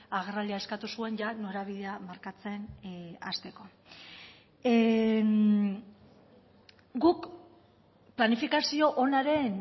agerraldia eskatu zuen norabidea markatzen hasteko guk planifikazio onaren